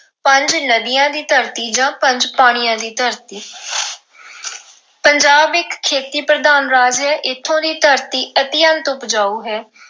ਪੰਜ ਨਦੀਆਂ ਦੀ ਧਰਤੀ ਜਾਂ ਪੰਜ ਪਾਣੀਆਂ ਦੀ ਧਰਤੀ ਪੰਜਾਬ ਇੱਕ ਖੇਤੀ ਪ੍ਰਧਾਨ ਰਾਜ ਹੈ ਇੱਥੋਂ ਦੀ ਧਰਤੀ ਅਤਿਅੰਤ ਉਪਜਾਊ ਹੈ।